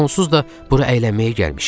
Onsuz da bura əylənməyə gəlmişik.